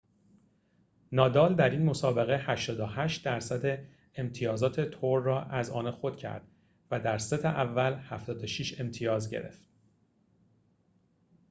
نادال در این مسابقه 88٪ امتیازات تور را از آن خود کرد و در ست اول، 76 امتیاز گرفت